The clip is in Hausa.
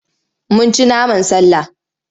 Mun ci naman sallah.